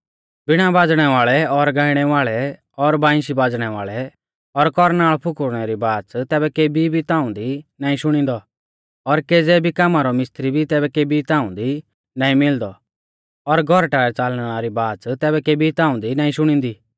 वीणा बाज़णै वाल़ै और गाइणै वाल़ै और बांइशी बाज़णै वाल़ै और कौरनाल़ फुकुरणै री बाच़ तैबै केबी भी ताऊं दी नाईं शुणींदौ और केज़ै भी कामा रौ मिस्त्री भी तैबै केबी ताऊं दी नाईं मिलदौ और गौरटा च़ालणै री आवाज़ तैबै केबी ताऊं दी नाईं शुणींदी